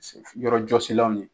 Yɔrɔjɔsila nunnu